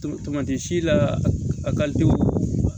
Tamati si la a